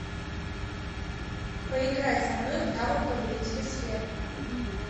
поиграй со мной в навык повелители сфер